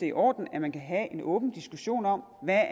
i orden at man kan have en åben diskussion om hvad